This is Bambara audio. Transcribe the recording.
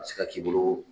A bɛ se ka k'i bolo